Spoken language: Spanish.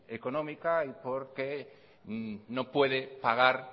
económica y porque no puede pagar